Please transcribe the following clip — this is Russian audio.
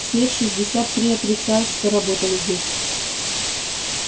все шестьдесят три отрицают что работали здесь